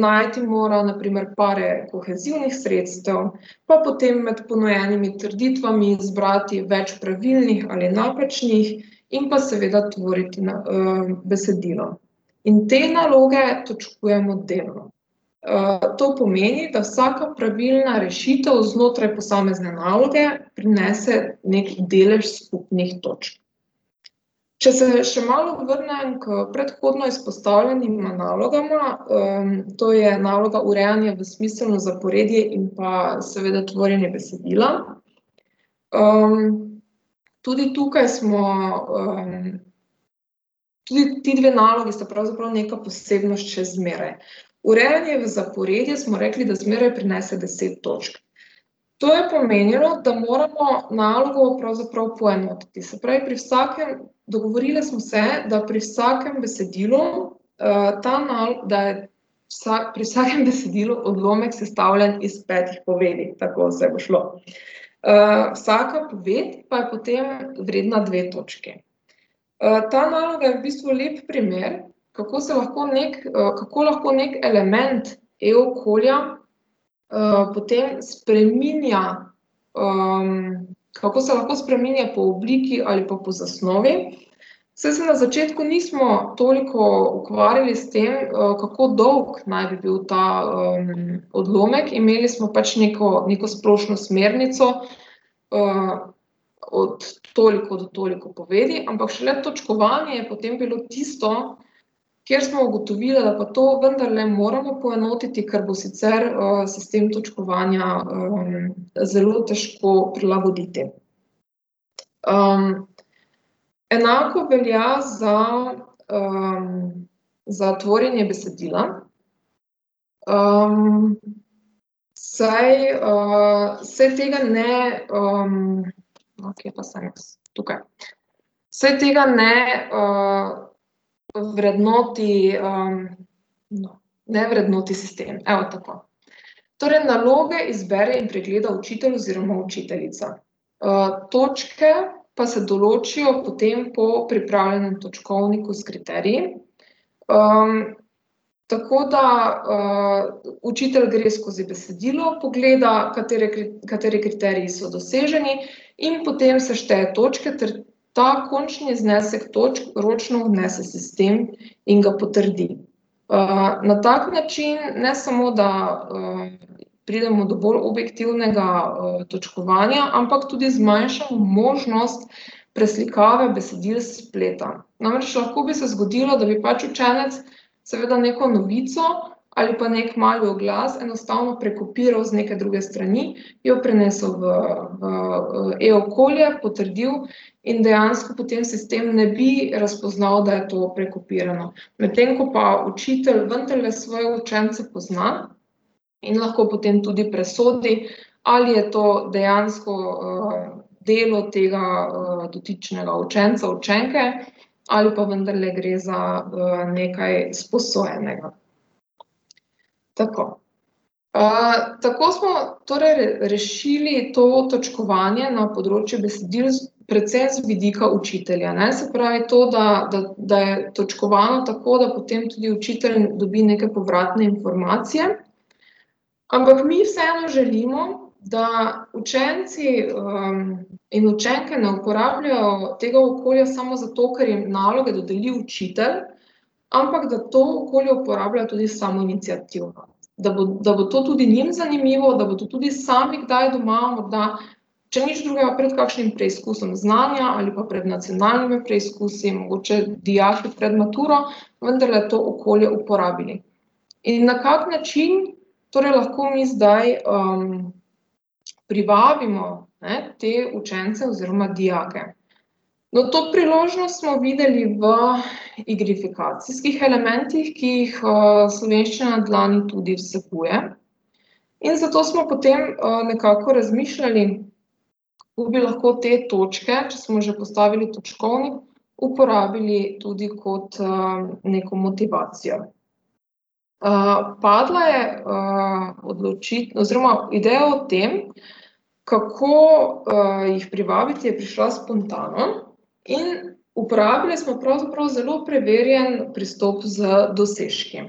najti mora na primer pare kohezivnih sredstev, pa potem med ponujenimi trditvami zbrati več pravilnih ali napačnih in pa seveda tvoriti besedilo. In te naloge točkujemo delno. to pomeni, da vsaka pravilna rešitev znotraj posamezne naloge prinese neki delež skupnih točk. Če se še malo vrnem k predhodno izpostavljenima nalogama, to je naloga urejanja v smiselno zaporedje in pa seveda tvorjenje besedila, tudi tukaj smo, tudi ti dve nalogi sta pravzaprav neka posebnost še zmeraj. Urejanje v zaporedje, smo rekli, da zmeraj prinese deset točk. To je pomenilo, da moramo nalogo pravzaprav poenotiti, se pravi, pri vsakem ... Dogovorile smo se, da pri vsakem besedilu, ta da je pri vsakem besedilu odlomek sestavljen iz petih povedi. Tako, saj bo šlo. vsaka poved pa je potem vredna dve točki. ta naloga je v bistvu lep primer, kako se lahko neki, kako lahko neki element e-okolja, potem spreminja, kako se lahko spreminja po obliki ali pa po zasnovi, saj se na začetku nismo toliko ukvarjali s tem, kako dolgo naj bi bil ta, odlomek, imeli smo pač neko splošno smernico, od toliko do toliko povedi, ampak šele točkovanje je potem bilo tisto, kjer smo ugotovile, da pa to vendarle moramo poenotiti, ker bo sicer, sistem točkovanja, zelo težko prilagoditi. enako velja za, za tvorjenje besedila, saj, se tega ne, ... No, kje pa sem jaz? Tukaj. Saj tega ne, vrednoti, no, ne vrednoti sistem. Evo, tako. Torej naloge izbere in pregleda učitelj oziroma učiteljica. točke pa se določijo potem po pripravljenem točkovniku s kriteriji. tako da, učitelj gre skozi besedilo, pogleda, katere kateri kriteriji so doseženi, in potem sešteje točke ter ta končni znesek točk ročno vnese v sistem in ga potrdi. na tak način, ne samo da, pridemo do bolj objektivnega, točkovanja, ampak tudi zmanjšamo možnost preslikave besedil s spleta, namreč lahko bi se zgodilo, da bi pač učenec seveda neko novico ali pa neki mali oglas enostavno prekopiral z neke druge strani, jo prenesel v, v e-okolje, potrdil in dejansko potem sistem ne bi razpoznal, da je to prekopirano, medtem ko pa učitelj vendarle svoje učence pozna in lahko potem tudi presodi, ali je to dejansko, delo tega dotičnega učenca, učenke ali pa vendarle gre za, nekaj sposojenega. Tako. tako smo torej rešili to točkovanje na področju besedil predvsem z vidika učitelja, ne, se pravi to, da, da je točkovano tako, da potem tudi učitelj dobi neke povratne informacije, ampak mi vseeno želimo, da učenci, in učenke ne uporabljajo tega okolja samo zato, ker jim naloge dodeli učitelj, ampak da to okolje uporabljajo tudi samoiniciativno. Da bo, da bo to tudi njim zanimivo, da bodo tudi sami kdaj doma, da če nič drugega, pred kakšnim preizkusom znanja ali pa pred nacionalnimi preizkusi, mogoče dijaki pred maturo vendarle to okolje uporabili. In na kak način torej lahko mi zdaj, privabimo, ne, te učence oziroma dijake? No, to priložnost smo videli v igrifikacijskih elementih, ki jih, Slovenščina na dlani tudi vsebuje. In zato smo potem, nekako razmišljali, kako bi lahko te točke, če smo že postavili točkovnik, uporabili tudi kot, neko motivacijo. padla je, oziroma ideja o tem, kako, jih privabiti, je prišla spontano, in uporabile smo pravzaprav zelo preverjen pristop z dosežki.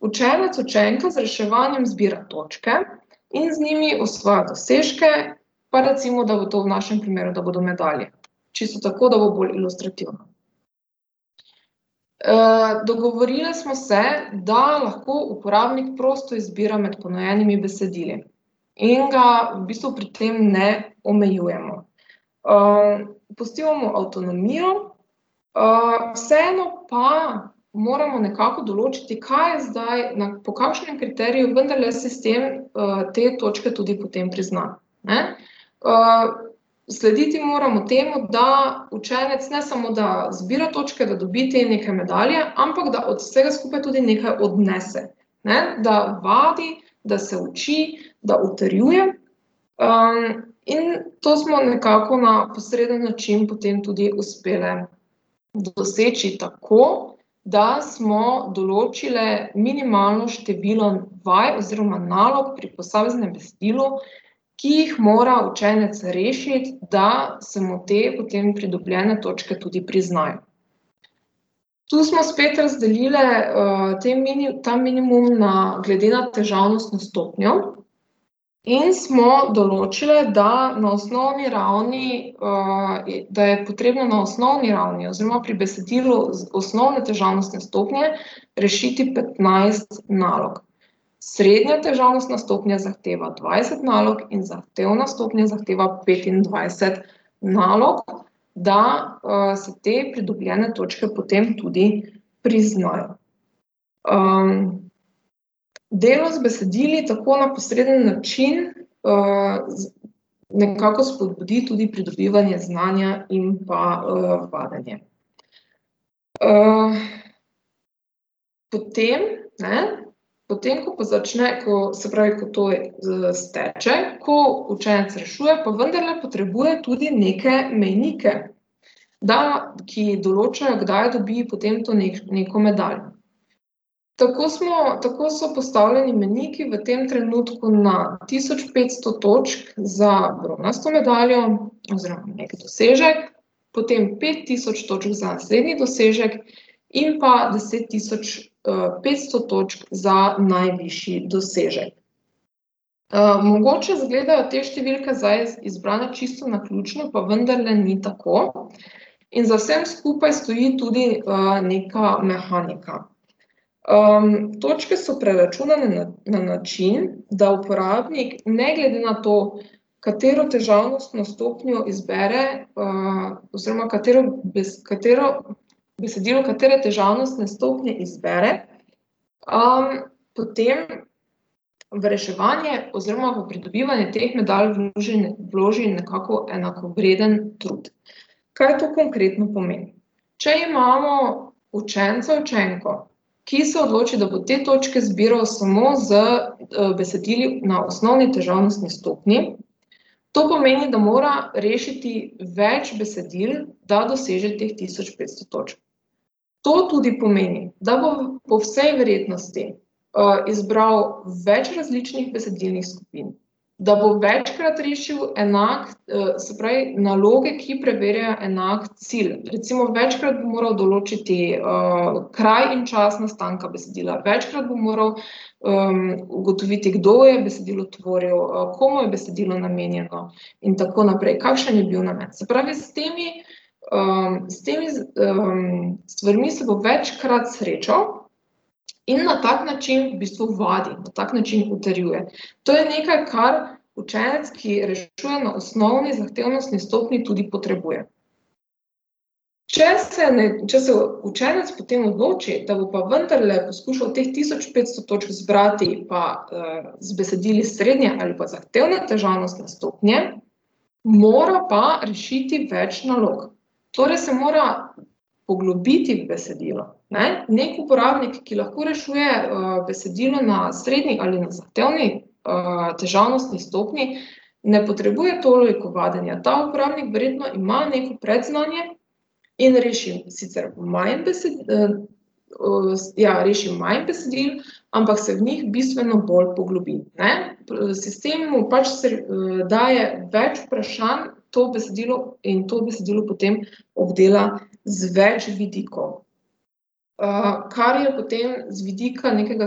učenec, učenka z reševanjem zbira točke in z njimi ustvarja dosežke, pa recimo, da bo to v našem primeru, da bodo medalje. Čisto tako, da bo bolj ilustrativno. dogovorile smo se, da lahko uporabnik prosto izbira med ponujenimi besedili in ga v bistvu pri tem ne omejujemo. pustimo mu avtonomijo, vseeno pa moramo nekako določiti, kaj zdaj po kakšnem kriteriju vendarle sistem, te točke tudi potem prizna, ne. slediti moramo temu, da učenec ne samo da zbira točke, da dobi te neke medalje, ampak da od vsega skupaj tudi nekaj odnese. Ne, da vadi, da se uči, da utrjuje, in to smo nekako na posreden način potem tudi uspele doseči tako, da smo določile minimalno število vaj oziroma vaj pri posameznem besedilu, ki jih mora učenec rešiti, da se mu te potem pridobljene točke tudi priznajo. Tu smo spet razdelile, te ta minimum na, glede na težavnostno stopnjo. In smo določile, da na osnovni ravni, da je potrebno na osnovni ravni oziroma pri besedilu osnovne težavnostne stopnje rešiti petnajst nalog. Srednja težavnostna stopnja zahteva dvajset nalog in zahtevna stopnja zahteva petindvajset nalog, da, se te pridobljene točke potem tudi priznajo. delo z besedili tako na posreden način, nekako spodbudi tudi pridobivanje znanja in pa, vadenje. potem, ne, potem ko pa začne, ko, se pravi, ko to steče, ko učenec rešuje, pa vendarle potrebuje tudi neke mejnike, da, ki določajo, kdaj dobi potem to neko medaljo. Tako smo, tako so postavljeni mejniki v tem trenutku na tisoč petsto točk za bronasto medaljo oziroma neki dosežek, potem pet tisoč točk za srednji dosežek in pa deset tisoč, petsto točk za najvišji dosežek. mogoče izgledajo te številke zdaj izbrane čisto naključno, pa vendarle ni tako in za vsem skupaj stoji tudi, neka mehanika. točke so preračunane na, na način, da uporabnik ne glede na to, katero težavnostno stopnjo izbere, oziroma katero katero, besedilo katere težavnostne stopnje izbere, potem v reševanje oziroma v pridobivanje teh medalj vloži nekako enakovreden trud. Kaj to konkretno pomeni? Če imamo učenca, učenko, ki se odloči, da bo te točke zbiral samo z, besedili na osnovni težavnostni stopnji, to pomeni, da mora rešiti več besedil, da doseže teh tisoč petsto točk. To tudi pomeni, da bo po vsej verjetnosti, izbral več različnih besedilnih skupin, da bo večkrat rešil enak, se pravi naloge, ki preverjajo enak cilj, recimo večkrat bo moral določiti, kraj in čas nastanka besedila, večkrat bo moral, ugotoviti, kdo je besedilo tvoril, komu je besedilo namenjeno in tako naprej, kakšen je bil namen. Se pravi, s temi, s temi s stvarmi se bo večkrat srečal in na tak način v bistvu vadi, na tak način utrjuje, to je nekaj, kar učenec, ki rešuje na osnovni zahtevnostni stopnji, tudi potrebuje. Če se če se učenec potem odloči, da bo pa vendarle skušal teh tisoč petsto točk zbrati pa, z besedili srednje ali pa zahtevne težavnostne stopnje, mora pa rešiti več nalog. Torej se mora poglobiti v besedilo, ne, neki uporabnik, ki lahko rešuje, besedila na srednji ali na zahtevni, težavnostni stopnji, ne potrebuje toliko vadenja, ta uporabnik verjetno ima neko predznanje in reši sicer manj ja, reši manj besedil, ampak se v njih bistveno bolj poglobi, ne, sistem mu pač daje več vprašanj, to besedilo, in to besedilo potem obdela z več vidikov. kar je potem z vidika nekega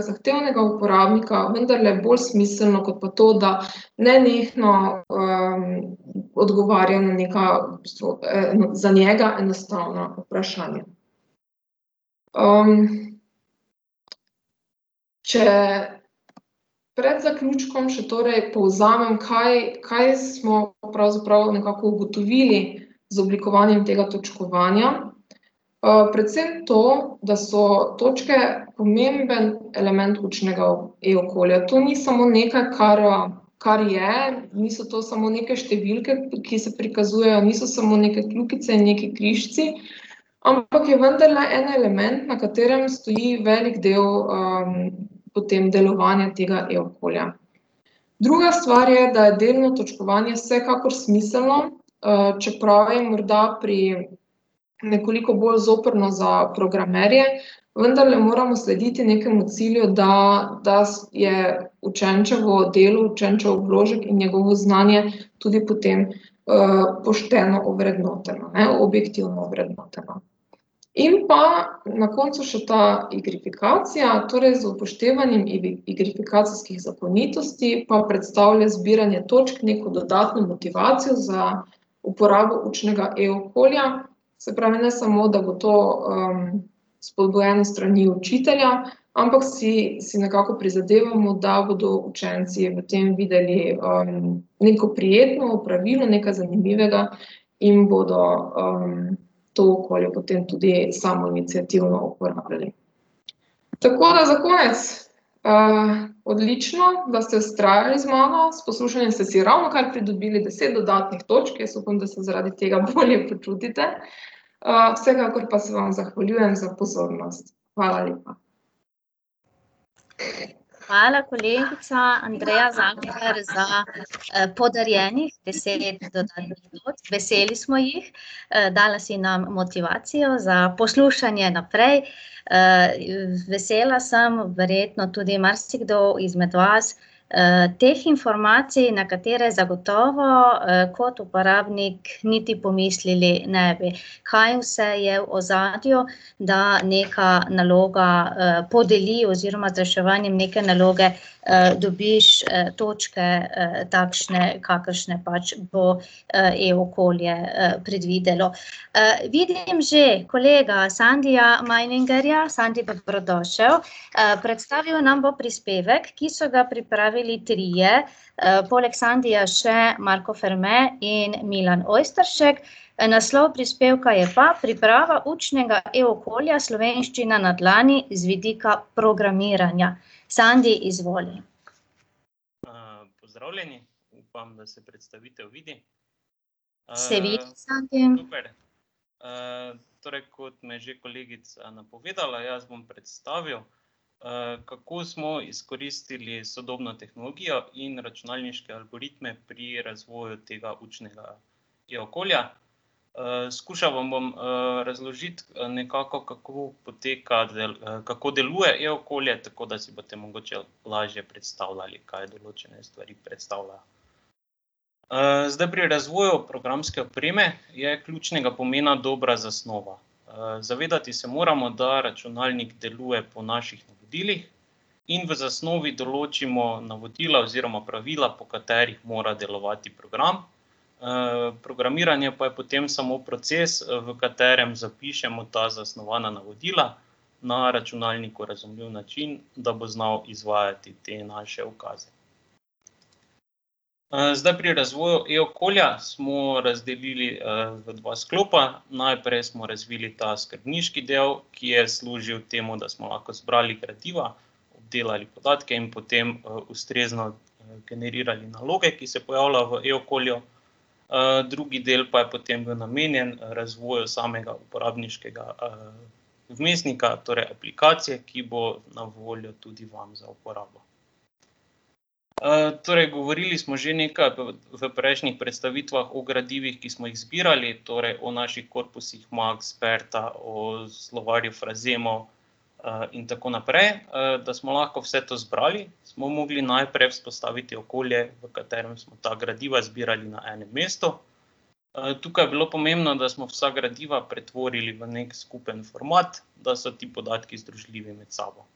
zahtevnega uporabnika vendarle bolj smiselno kot pa to, da nenehno, odgovarja na neka v bistvu za njega enostavna vprašanja. če pred zaključkom še torej povzamem, kaj, kaj smo pravzaprav nekako ugotovili z oblikovanjem tega točkovanja, predvsem to, da so točke pomembno element učnega e-okolja. To ni samo nekaj, kar, kar je, niso to samo neke številke, ki se prikazujejo, niso samo neke kljukice in nekaj križci, ampak je vendarle en element, na katerem stoji velik del, potem delovanja tega e-okolja. Druga stvar je, da je delno točkovanje vsekakor smiselno, čeprav je morda pri, nekoliko bolj zoprno za programerje, vendarle moramo slediti nekemu cilju, da, da je učenčevo delo, učenčev vložek in njegovo znanje tudi potem, pošteno vrednoteno, ne, objektivno vrednoteno. In pa na koncu še ta igrifikacija, torej z upoštevanjem igrifikacijskih zakonitosti pa predstavlja zbiranje točk neko dodatno motivacijo za uporabo učnega e-okolja. Se pravi, ne samo, da bo to, spodbujen s strani učitelja, ampak si, si nekako prizadevamo, da bodo učenci v tem videli, neko prijetno opravilo, nekaj zanimivega in bodo, to okolje potem tudi samoiniciativno uporabljali. Tako da za konec, odlično, da ste vztrajali z mano, s poslušanjem ste si ravnokar pridobili deset dodatnih točk, jaz upam, da se zaradi tega bolje počutite, vsekakor pa se vam zahvaljujem za pozornost. Hvala lepa. Hvala, kolegica Andreja Zalokar za podarjenih deset do dvajset minut, veseli smo jih. dala si nam motivacijo za poslušanje naprej, vesela sem, verjetno tudi marsikdo izmed vas, teh informacij, na katere zagotovo, kot uporabnik niti pomislili ne bi. Kaj vse je v ozadju, da nekaj naloga, podeli oziroma za reševanje neke naloge, dobiš, točke, takšne, kakršne pač bo, e-okolje, predvidelo. vidim že kolega Sandija Majningerja, Sandi, dobrodošel. predstavil nam bo prispevek, ki so ga pripravili trije, poleg Sandija še Marko Ferme in Milan Ojsteršek. naslov prispevka je pa Priprava učnega e-okolja Slovenščina na dlani z vidika programiranja. Sandi, izvoli. pozdravljeni, upam, da se predstavitev vidi. ... super. Se vidi, Sandi. torej kot me je že kolegica napovedala, jaz bom predstavil, kako smo izkoristili sodobno tehnologijo in računalniške algoritme pri razvoju tega učnega e-okolja. skušal vam bo, razložiti, nekako kako poteka kako deluje e-okolje, tako da si potem mogoče lažje predstavljali, kaj določene stvari predstavlja. zdaj pri razvoju programske opreme je ključnega pomena dobra zasnova. zavedati se moramo, da računalnik deluje po naših navodilih, in v zasnovi določimo navodila oziroma pravila, po katerih mora delovati program. programiranje pa je potem samo proces, v katerem zapišemo ta zasnovana navodila na računalniku razumljiv način, da bo znal izvajati te naše ukaze. zdaj pri razvoju e-okolja smo razdelili, v dva sklopa, najprej smo razvili ta skrbniški del, ki je služil temu, da smo lahko zbrali gradiva, delali podatke in potem, ustrezno generirali naloge, ki se pojavljajo v e-okolju. drugi del pa je potem bil namenjen razvoju samega uporabniškega, vmesnika, torej aplikacije, ki bo na voljo tudi vam za uporabo. torej govorili smo že nekaj v, v prejšnjih predstavitvah o gradivih, ki smo jih zbirali, torej o naših korpusih Maks, Berta, o slovarjih frazemov, in tako naprej. da smo lahko vse to zbrali, smo mogli najprej vzpostaviti okolje, v katerem smo ta gradiva zbirali na enem mestu. tukaj je bilo pomembno, da smo vsa gradiva pretvorili v neki skupni format, da so ti podatki združljivi med sabo.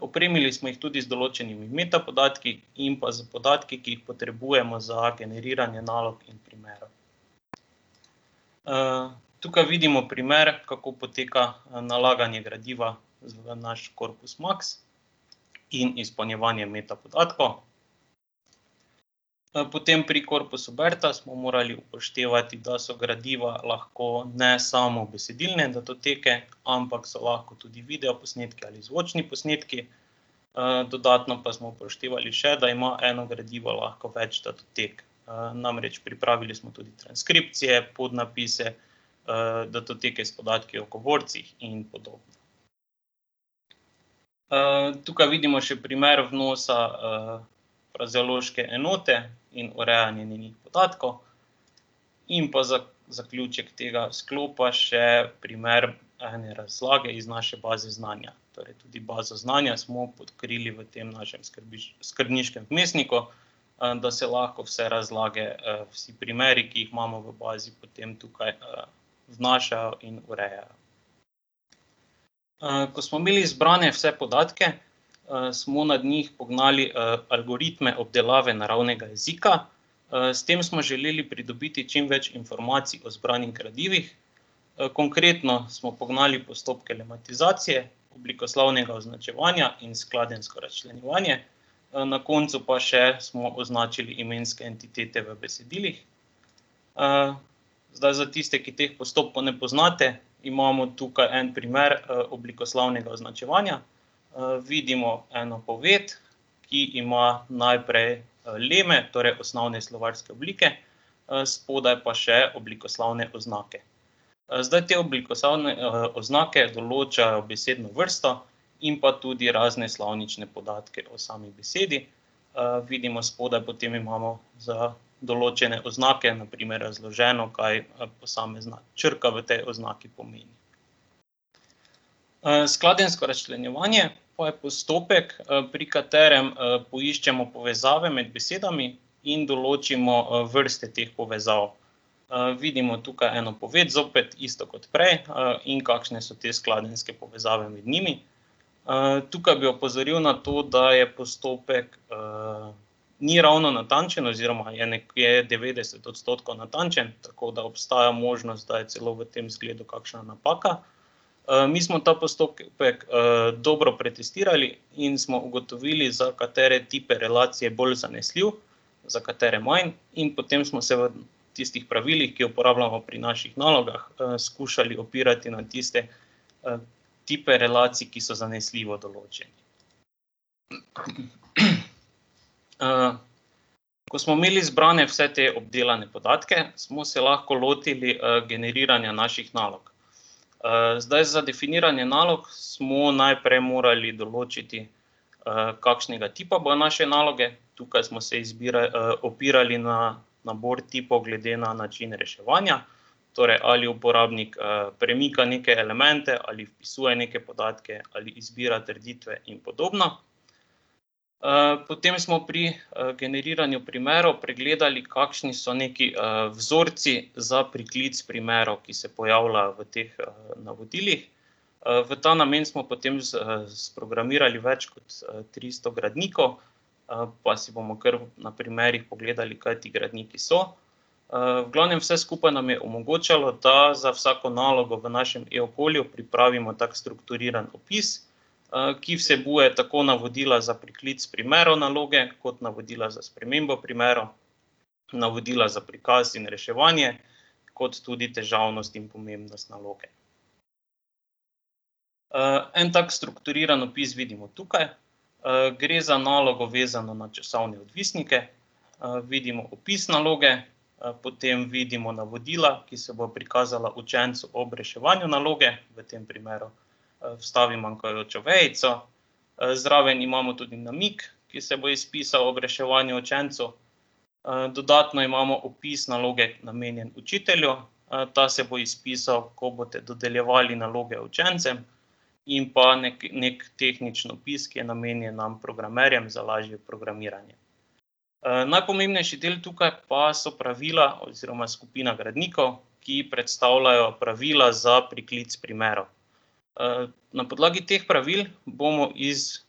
opremili smo jih tudi z določenimi metapodatki in pa s podatki, ki jih potrebujemo za generiranje nalog in primerov. tukaj vidimo primer, kako poteka nalaganje gradiva v naš korpus Maks in izpolnjevanje metapodatkov. potem pri korpusu Berta smo morali upoštevati, da so gradiva lahko ne samo besedilne datoteke, ampak so lahko tudi videoposnetki ali zvočni posnetki, dodatno pa smo upoštevali še, da ima eno gradivo lahko več datotek, namreč pripravili smo tudi transkripcije, podnapise, datoteke s podatki o govorcih in podobno. tukaj vidimo še primer odnosa, frazeološke enote in urejanja njenih podatkov. In pa za zaključek tega sklopa še primer razlage iz naše baze znanja, torej tudi bazo znanja smo odkrili v tem našim skrbniškem vmesniku, da se lahko vse razlage, vsi primeri, ki jih imamo v bazi, potem tukaj, zmanjšajo in urejajo. ko smo imeli zbrane vse podatke, smo nad njih pognali, algoritme obdelave naravnega jezika, s tem smo želeli pridobiti čim več informacij o zbranih gradivih, konkretno smo pognali postopke lematizacije, oblikoslovnega označevanja in skladenjsko razčlenjevanje. na koncu pa še smo označili imenske entitete v besedilih. zdaj za tiste, ki teh postopkov ne poznate, imamo tukaj en primer, oblikoslovnega označevanja. vidimo eno poved, ki ima najprej leme, torej osnovne slovarske oblike, spodaj pa še oblikoslovne oznake. zdaj te oblikoslovne, oznake določajo besedno vrsto in pa tudi razne slovnične podatke o sami besedi vidimo spodaj, potem imamo za določene oznake, na primer razloženo, kaj, posamezna črka v tej oznaki pomeni. skladenjsko razčlenjevanje pa je postopek, pri katerem, poiščemo povezave med besedami in določimo, vrste teh povezav. vidimo tukaj eno poved, zopet isto kot prej, in kakšne so te skladenjske povezave med njimi. tukaj bi opozoril na to, da je postopek, ni ravno natančen oziroma je je devetdeset odstotkov natančno, tako da obstaja možnost, da je celo v tem zgledu kakšna napaka. mi smo ta postopek, dobro pretestirali in smo ugotovili, za katere tipe relacij je bolj zanesljiv za katere manj, in potem smo se v tistih pravilih, ki jih uporabljamo pri naših nalogah, skušali opirati na tiste, tipe relacij, ki so zanesljivo določeni. ko smo imeli zbrane vse te obdelane podatke, smo se lahko lotili, generiranja naših nalog. zdaj za definiranje nalog smo najprej morali določiti, kakšnega tipa bojo naše naloge. Tukaj smo se opirali na nabor tipov glede na način reševanja. Torej ali uporabnik, premika neke elemente ali vpisuje neke podatke ali izbira trditve in podobno. potem smo pri, generiranju primerov pregledali, kakšni so neki, vzorci za priklic primerov, ki se pojavljajo v teh navodilih. v ta namen smo potem sprogramirali več kot tristo gradnikov, pa si bomo kar na primerih pogledali, kaj ti gradniki so. v glavnem, vse skupaj nam je omogočalo, da za vsako nalogo v našim e-okolju pripravimo tak strukturiran opis, ki vsebuje tako navodila za priklic primerov naloge kot navodila za spremembo primerov, navodila za prikaz in reševanje, kot tudi težavnost in pomembnost naloge. en tak strukturiran opis vidimo tukaj, gre za nalogo, vezano na časovne odvisnike. vidimo opis naloge, potem vidimo navodila, ki se bojo prikazala učencu ob reševanju naloge, v tem primeru, vstavi manjkajočo vejico, zraven imamo tudi namig, ki se bo izpisal ob reševanju učencu, dodatno imamo opis naloge, namenjen učitelju, ta se bo izpisal, ko boste dodeljevali naloge učencem. In pa neki tehnični obisk je namenjen nam, programerjem, za lažje programiranje. najpomembnejši del tukaj pa so pravila oziroma skupina gradnikov, ki predstavljajo pravila za priklic primerov. na podlagi teh pravil bomo iz